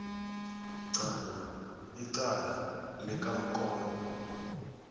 qala icala likamkombo